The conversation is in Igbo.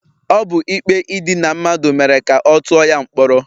Ọ bụ ikpe idina mmadụ mere ka ọ tụọ ya mkpọrọ.